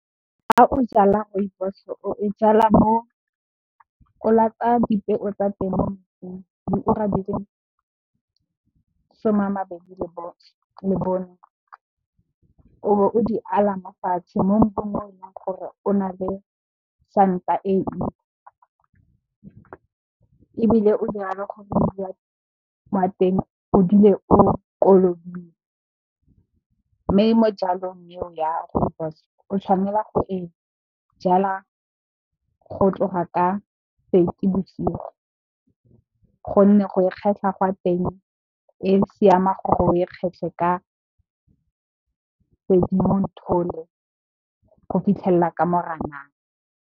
Fa o jala Rooibos o e jalwa mo o latsa dipeo tsa teng diura di le masome a mabedi le bone o be o di ala mofatshe mo mmung o leng gore o na le santa e ntsi ebile, o dire gore mmu wa teng o dule o kolobile. Mme, mo jalong eo ya Rooibos o tshwanela gore e jalwa go tloga ka Seetebosigo gonne go e kgetlha gwa teng e siama gore o e kgetlhe ka Sedimonthole go fitlhelela ka Moranang.